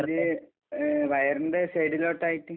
അത് വയറിന്റെ സൈഡിലോട്ടായിട്ട്...